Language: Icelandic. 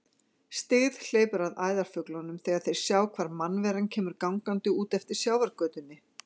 Styggð hleypur að æðarfuglunum þegar þeir sjá hvar mannvera kemur gangandi út eftir sjávargötunni.